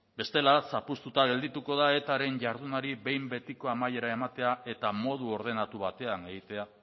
bestela zapuztuta geldituko da etaren jardunari behin betiko amaiera ematea eta modu ordenatu batean egitea